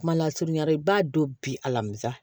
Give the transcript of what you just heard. Kuma lasurunyara i b'a don bi alamisa